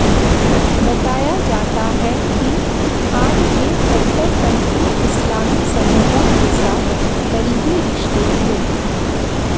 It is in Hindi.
बताया जाता है कि खान के कट्टरपंथी इस्लामी समूहों के साथ करीबी रिश्ते थे